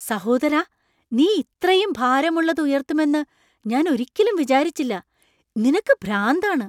സഹോദരാ! നീ ഇത്രയും ഭാരമുള്ളത് ഉയർത്തുമെന്ന് ഞാൻ ഒരിക്കലും വിചാരിച്ചില്ല , നിനക്ക് ഭ്രാന്താണ്! !